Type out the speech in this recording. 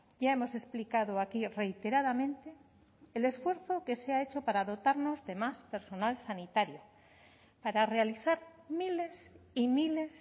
ya hemos explicado aquí reiteradamente el esfuerzo que se ha hecho para dotarnos de más personal sanitario para realizar miles y miles